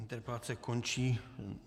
Interpelace končí.